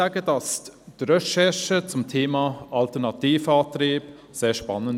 Die Recherche zum Thema Alternativantriebe war sehr spannend.